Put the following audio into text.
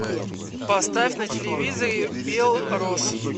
поставь на телевизоре белрос